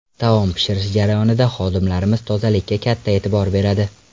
Taom pishirish jarayonida xodimlarimiz tozalikka katta e’tibor beradi.